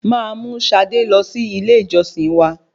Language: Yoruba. Máa mú Sade lọ sí ilé ìjọsìn wa.